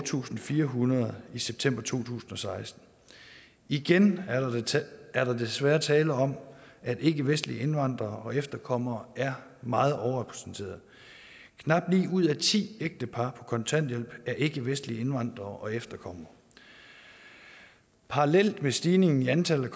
tusind fire hundrede i september to tusind og seksten igen er der desværre tale om at ikkevestlige indvandrere og efterkommere er meget overrepræsenteret knap ni ud af ti ægtepar på kontanthjælp er ikkevestlige indvandrere og efterkommere parallelt med stigningen i antallet